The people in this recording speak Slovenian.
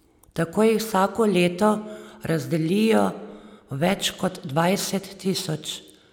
Tako jih vsako leto razdelijo več kot dvajset tisoč.